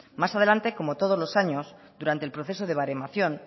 más adelante como todos los años durante el proceso de baremación